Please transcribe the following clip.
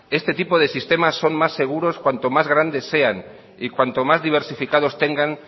este tipo de sistemas son más seguros cuanto más grandes sean y cuanto más diversificados tengan